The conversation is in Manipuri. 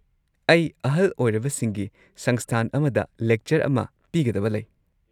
ꯑꯩ ꯑꯍꯜ ꯑꯣꯏꯔꯕꯁꯤꯡꯒꯤ ꯁꯪꯁꯊꯥꯟ ꯑꯃꯗ ꯂꯦꯛꯆꯔ ꯑꯃ ꯄꯤꯒꯗꯕ ꯂꯩ꯫